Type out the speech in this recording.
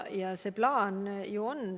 Ning plaan meil ju on.